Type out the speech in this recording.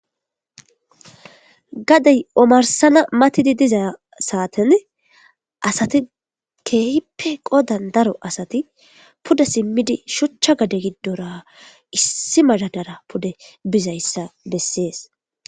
gadey omarsana matidi diza saaten asati keyippe qodan daro asati puda simmidi shuchcha gade giddora issi madadara pude bizayssa bessees